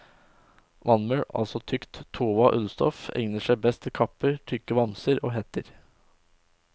Vadmel, altså tykt, tova ullstoff, egner seg best til kapper, tykke vamser og hetter.